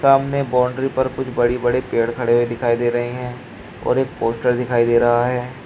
सामने बाउंड्री पर कुछ बड़ी बड़े पेड़ खड़े हुए दिखाई दे रहे हैं और एक पोस्टर दिखाई दे रहा है।